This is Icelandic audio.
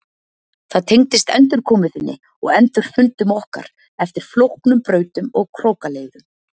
Það tengdist endurkomu þinni og endurfundum okkar eftir flóknum brautum og krókaleiðum.